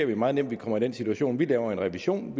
vi meget nemt kommer i den situation at vi laver en revision